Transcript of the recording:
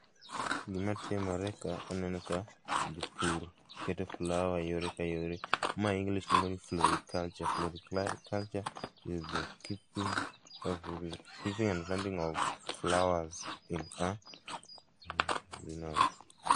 Gima timore ka, aneno ka jopur keto flower yore ka yore, ma english luongo ni floriculture. Floriculture is the keeping, keeping and planting of flowers in a greenhouse